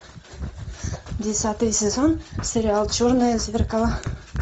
десятый сезон сериал черное зеркало